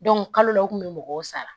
kalo la u kun bɛ mɔgɔw sara